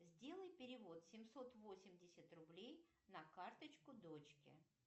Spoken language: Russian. сделай перевод семьсот восемьдесят рублей на карточку дочке